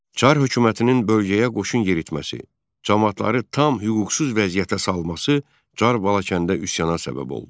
Çar hökumətinin bölgəyə qoşun yeritməsi, camaatları tam hüquqsuz vəziyyətə salması Çar Balakəndə üsyana səbəb oldu.